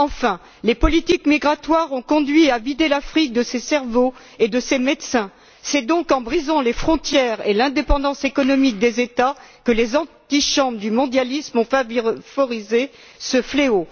Enfin, les politiques migratoires ont conduit à vider l'Afrique de ses cerveaux et de ses médecins. C'est donc en brisant les frontières et l'indépendance économique des États que les antichambres du mondialisme ont favorisé ce fléau.